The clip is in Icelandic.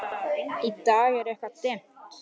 Í dag er það eitthvað dimmt.